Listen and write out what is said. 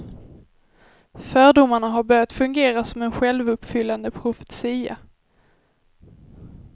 Fördomarna har börjat fungera som en självuppfyllande profetia.